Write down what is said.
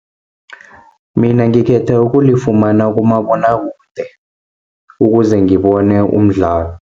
Mina ngikhetha ukulifumana kumabonwakude, ukuze ngibone umdlalo.